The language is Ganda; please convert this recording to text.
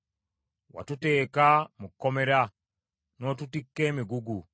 Watuteeka mu kkomera, n’otutikka emigugu.